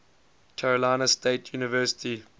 carolina state university